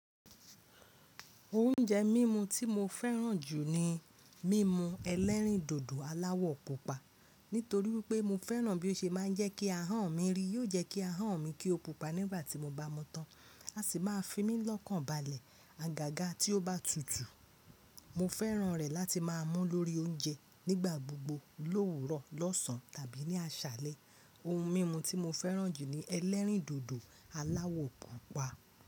Oúnjẹ mímú tí mo fẹ́ràn jù ni mímú ẹlẹ́rìndòdò aláwọ̀ pupa. Nítorí wípé mo fẹ́ràn bí ó ṣe ma ń jẹ́ kí ahọ́n mi rí. Yóò jẹ́ kí ahọ́n mi kí o pupa nígbà tí mo bá mu tán, á sì máa fi mí lọ́kàn balẹ̀. Agaga tí ó bá tutù, mo fẹ́ràn rẹ̀ láti máa mú lórí oúnjẹ nígbà gbogbo, l'òwúrọ̀, lọ́sàn tàbí ní aṣálẹ́. Ohun mímu tí mo fẹ́ràn jù ni ẹlẹ́rìndòdò aláwọ̀ púpà.